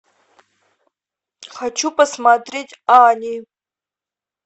хочу посмотреть ани